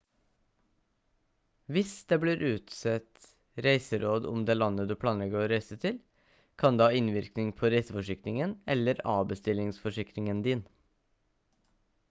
hvis det blir utstedt reiseråd om det landet du planlegger reise å til kan det ha innvirkning på reiseforsikringen eller avbestillingsforsikringen din